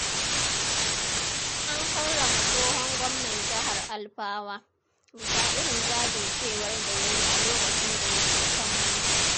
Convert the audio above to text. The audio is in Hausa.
An karrama tsohon Gwamnan Jihar Alfawa, bisa irin jajircewar da ya yi a lokacin da yake kan mulki.